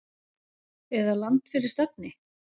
eða Land fyrir stafni!